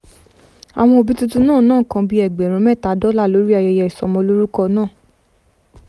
àwọn òbí tuntun náà ná nǹkan bí ẹgbẹ̀rún mẹ́ta dọ́là lórí ayẹyẹ ìsọmọlórúkọ náà